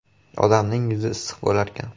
Odamning yuzi issiq bo‘larkan.